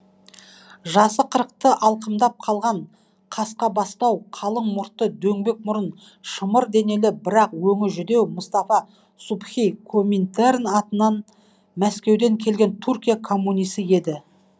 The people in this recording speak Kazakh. жасы қырықты алқымдап қалған қасқабастау қалың мұртты дөңбек мұрын шымыр денелі бірақ өңі жүдеу мұстафа субхи коминтерн атынан мәскеуден келген түркия коммунисі еді